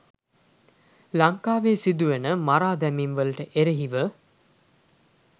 ලංකාවේ සිදුවන මරාදැමීම් වලට එරෙහිව